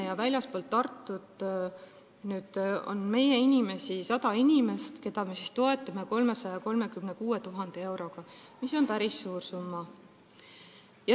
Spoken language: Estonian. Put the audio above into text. Väljaspool Tartut on 100 meie inimest, keda me toetame 336 000 euroga, mis on päris suur summa.